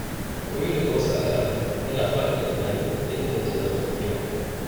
Koyo daga wasu al’adu yana faɗaɗa tunani da inganta zamantakewa.